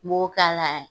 Mugu k'a la